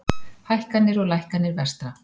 Hækkanir og lækkanir vestra